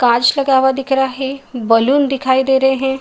कांच लगा हुआ दिख रहा है। बलून दिखाई दे रहे हैं।